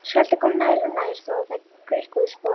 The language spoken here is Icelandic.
Skröltið kom nær og nær þó að þær greikkuðu sporið.